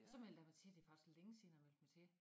Så meldte jeg mig til det faktisk længe siden jeg meldte mig til